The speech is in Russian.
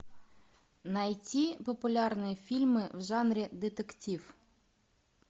найти популярные фильмы в жанре детектив